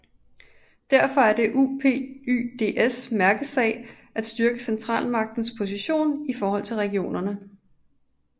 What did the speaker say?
Det er derfor UPyDs mærkesag at styrke centralmagtens position i forhold til regionerne